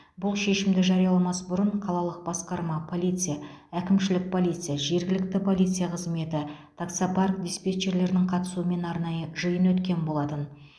бұл шешімді жарияламас бұрын қалалық басқарма полиция әкімшілік полиция жергілікті полиция қызметі таксопарк диспетчерлерінің қатысуымен арнайы жиын өткен болатын